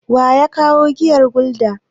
Wa ya kawo giyar Gulda?